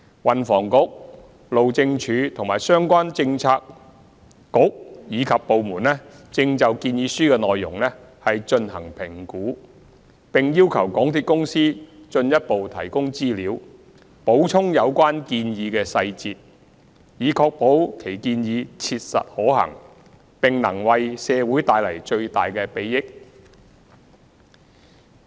運房局、路政署及相關政策局/部門正就建議書內容進行評估，並要求港鐵公司進一步提供資料，補充有關建議的細節，以確保其建議切實可行，並能為社會帶來最大的裨益。